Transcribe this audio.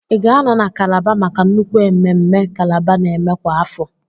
Ị ga-anọ na kálábá maka nnukwu ememme kálábá n'eme kwa afọ?